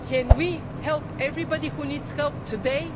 So can we help everybody who needs help today?